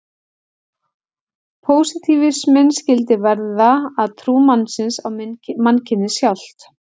Pósitífisminn skyldi verða að trú mannsins á mannkynið sjálft.